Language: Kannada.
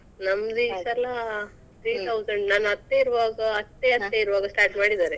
ನಮ್ದ್ ಈ ಸಲಾ three thousand ನನ್ ಅತ್ತೆ ಇರುವಾಗ ಅತ್ತೆ ಅತ್ತೆ ಇರುವಾಗ start ಮಾಡಿದ್ದಾರೆ.